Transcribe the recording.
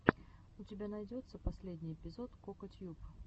у тебя найдется последний эпизод кокатьюб